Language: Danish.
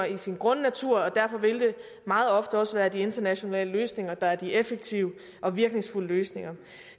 i sin grundnatur og derfor vil det meget ofte også være de internationale løsninger der er de effektive og virkningsfulde løsninger